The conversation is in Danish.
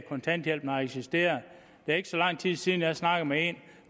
kontanthjælpen har eksisteret det er ikke så lang tid siden jeg har snakket med en